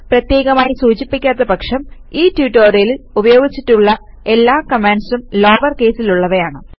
പ്രത്യേകമായി സൂചിപ്പിക്കാത്ത പക്ഷം ഈ ട്യൂട്ടോറിയലിൽ ഉപയോഗിച്ചിട്ടുള്ള എല്ലാ കമാൻഡ്സും ലോവർ കേസിൽ ഉള്ളവയാണ്